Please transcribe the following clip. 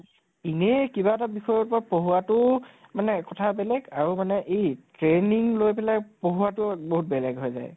এনেই কিবা এটা বিষয়ৰ ওপৰত পঢ়োৱা তো মানে কথা বেলেগ আৰু মানে এই training লৈ পেলাই পঢ়োৱা তো বহুত বেলেগ হৈ যায় ।